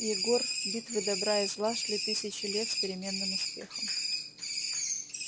егор битвы добра и зла шли тысячи лет с переменным успехом